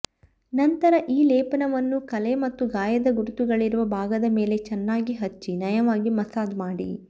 ನಂತರ ಈ ಲೇಪನವನ್ನು ಕಲೆ ಮತ್ತು ಗಾಯದ ಗುರುತುಗಳಿರುವ ಭಾಗದ ಮೇಲೆ ಚೆನ್ನಾಗಿ ಹಚ್ಚಿ ನಯವಾಗಿ ಮಸಾಜ್ ಮಾಡಿ